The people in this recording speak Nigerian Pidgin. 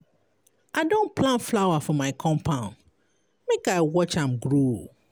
I don plant flower for my compound, make I watch am grow.